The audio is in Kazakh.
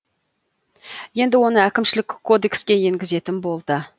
енді оны әкімшілік кодекске енгізетін болды